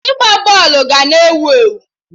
Ịgba bọọlụ ga na ewu ewu